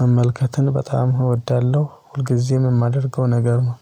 መመልከትን በጣም እወዳለሁ። ሁልጊዜም የማደርገው ነገር ነው።